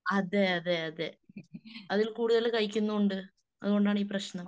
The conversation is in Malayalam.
അതെയതെയാതെ അതിൽ കൂടുതൽ കഴിക്കുന്നുമുണ്ട്. അതുകൊണ്ടാണീ പ്രശ്നം .